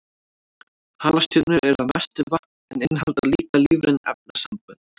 Halastjörnur eru að mestu vatn en innihalda líka lífræn efnasambönd.